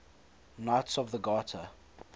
knights of the garter